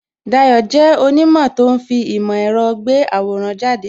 Dayo jẹ́ onimo tó ń fi ìmò èrò gbé àwòrán jáde